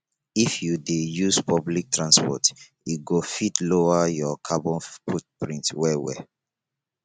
if you dey use public transport e go fit lower your carbon footprint wellwell